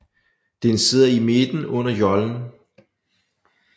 Den sidder i midten under jollen